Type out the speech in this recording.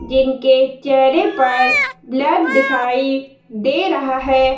जिनके चेहरे पर ब्लर दिखाई दे रहा है।